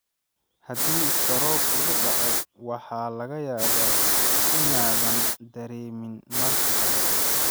Haddii istaroog kugu dhaco, waxaa laga yaabaa inaadan dareemin marka hore.